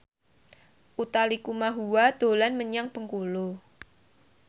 Utha Likumahua dolan menyang Bengkulu